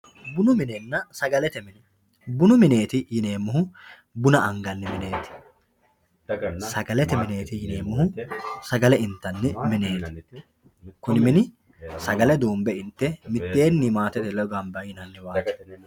bunu minenna sagalete mine bunu mineeti yineemohu buna anganni mineeti sagalete mineeti yineemohu sagale intanni mineeti kuni mini sagale duunbe intte mitteeni maatete ledo gamba yinanniwaati.